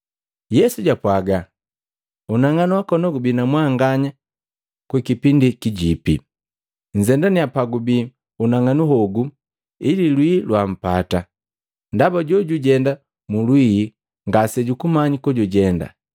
Yesu jwapwaga, “Unang'anu wakona gubi na mwanganya kwa kipindi kijipi. Nzendanya pagubii unang'anu hogu ili lwii lwampata, ndaba jojujenda mu lwii ngasejukumanya kojujenda.